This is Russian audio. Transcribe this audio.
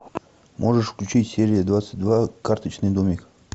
можешь включить серия двадцать два карточный домик